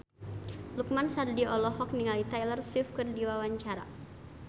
Lukman Sardi olohok ningali Taylor Swift keur diwawancara